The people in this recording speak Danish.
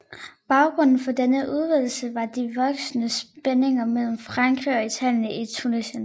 Baggrunden for denne udvidelse var de voksende spændinger mellem Frankrig og Italien i Tunesien